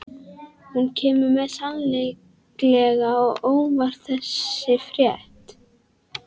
Hún kemur mér sannarlega á óvart þessi frétt.